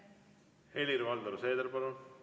Helir-Valdor Seeder, palun!